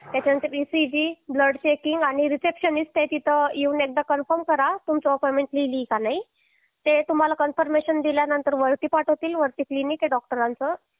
त्याच्यानंतर ECG blood checking आणि receptionist आहे तिथे येऊन एकदा कन्फर्म करा तुमची अपॉइंटमेंट लिहिली आहे का नाही ते तुम्हाला कन्फर्मेशन दिल्यानंतर वरती पाठवतील वरती क्लिनिक आहे डॉक्टरांच